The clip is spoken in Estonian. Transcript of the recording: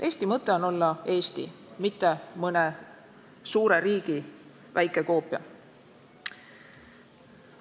Eesti mõte on olla Eesti, mitte mõne suure riigi väike koopia.